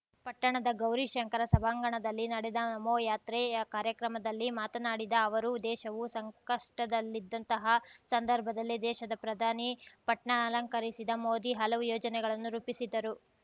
ಪಟ್ಟಣದ ಗೌರೀಶಂಕರ ಸಭಾಂಗಣದಲ್ಲಿ ನಡೆದ ನಮೋ ಯಾತ್ರೆಯ ಕಾರ್ಯಕ್ರಮದಲ್ಲಿ ಮಾತನಾಡಿದ ಅವರು ದೇಶವು ಸಂಕಷ್ಟದಲ್ಲಿದ್ದಂತಹ ಸಂದರ್ಭದಲ್ಲಿ ದೇಶದ ಪ್ರಧಾನಿ ಪಟ್ನ ಅಲಂಕರಿಸಿದ ಮೋದಿ ಹಲವು ಯೋಜನೆಗಳನ್ನು ರೂಪಿಸಿದರು